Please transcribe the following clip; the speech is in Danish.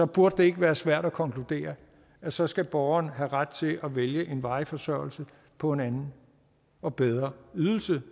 burde det ikke være svært at konkludere at så skal borgeren have ret til at vælge en varig forsørgelse på en anden og bedre ydelse